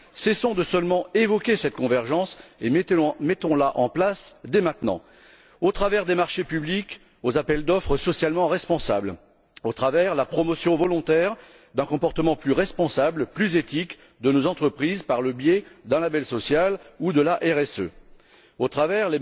Ne nous contentons plus d'évoquer cette convergence mais mettons la en place dès maintenant, au travers de marchés publics aux appels d'offres socialement responsables, au travers de la promotion volontaire d'un comportement plus responsable et plus éthique de nos entreprises par le biais d'un label social ou de la RSE, au travers